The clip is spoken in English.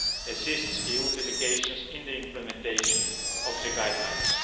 assists EU delegations in the implementation of the Guidelines.